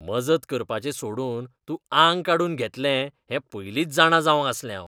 मजत करपाचें सोडून तूं आंग काडून घेतलें हें पयलींच जाणा जावंक आसलें हावें.